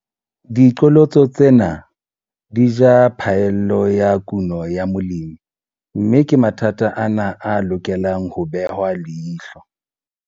Diqholotso tsena di ja phaello ya kuno ya molemi, mme ke mathata ana a lokelang ho behwa leihlo.